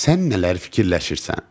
Sən nələr fikirləşirsən?